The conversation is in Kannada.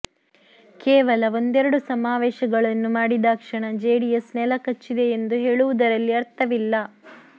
ಕೇವಲ ಒಂದೆರಡು ಸಮಾವೇಶಗಳನ್ನು ಮಾಡಿದಾಕ್ಷಣ ಜೆಡಿಎಸ್ ನೆಲಕಚ್ಚಿದೆ ಎಂದು ಹೇಳುವುದರಲ್ಲಿ ಅರ್ಥವಿಲ್ಲ